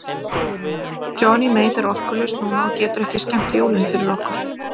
Johnny Mate er orkulaus núna og getur ekki skemmt jólin fyrir okkur.